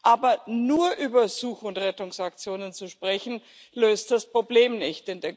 Aber nur über Such und Rettungsaktionen zu sprechen, löst das Problem nicht.